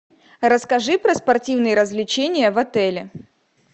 расскажи про спортивные развлечения в отеле